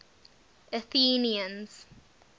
athenians